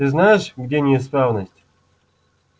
ты знаешь где неисправность